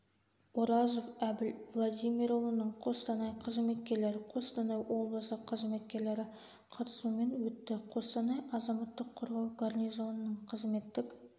оразов әбіл владимирұлыны қостанай қызметкерлері қостанай облысы қызметкерлері қатысуымен өтті қостанай азаматтық қорғау гарнизонының қызметтік